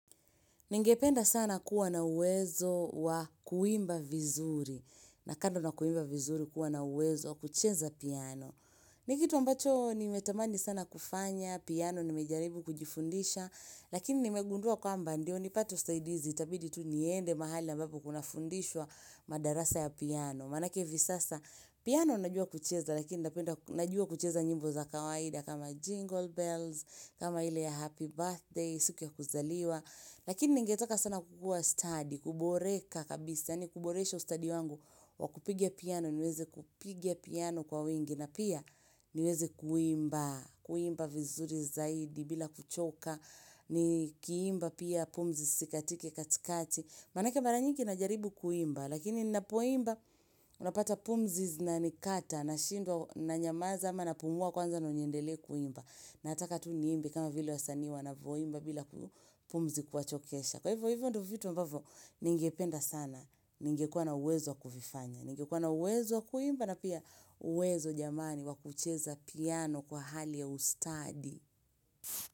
Ningependa sana kuwa na uwezo wa kuimba vizuri, na kando na kuimba vizuri kuwa na uwezo kucheza piano. Nikitu ambacho nimetamani sana kufanya, piano nimejaribu kujifundisha, lakini nimegundua kwamba ndio, nipate usaidizi, itabidi tu niende mahali ambapo kuna fundishwa madarasa ya piano. Manaake hivi sasa piano najua kucheza lakini najua kucheza nyimbo za kawaida kama jingle bells, kama ile ya happy birthday, siku ya kuzaliwa. Lakini ningetaka sana kukua stadi, kuboreka kabisa, yani kuboresha stadi wangu wa kupigia piano, niweze kupigia piano kwa wengi. Na pia niweze kuimba, kuimba vizuri zaidi bila kuchoka, nikiimba pia pumzi isikatike katikati. Manaake mara nyingi na jaribu kuimba, lakini ninapoimba unapata pumzi zinanikata nashindwa na nyamaza ama na pumua kwanza ndo niendelee kuimba. Nataka tu niimbe kama vile wasanii wanavyoimba bila pumzi kuwachokesha Kwahiyo hivyo ndo vitu ambavyo ningependa sana, ningekua na uwezo wakuvifanya, ningekua na uwezo wa kuimba na pia uwezo jamani wakucheza piano kwa hali ya ustadi.